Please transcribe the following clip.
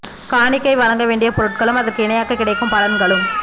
காணிக்கை வழங்க வேண்டிய பொருட்களும் அதற்கு இணையாக கிடைக்கும் பலன்களும்